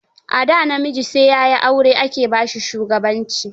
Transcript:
A da, namiji sai ya yi aure ake ba shi shugabanci